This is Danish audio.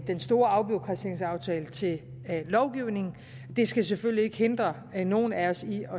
den store afbureaukratiseringsaftale til lovgivning det skal selvfølgelig ikke hindre nogen af os i